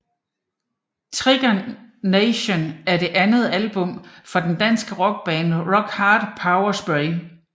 Trigger Nation er det andet album fra det danske rockband Rock Hard Power Spray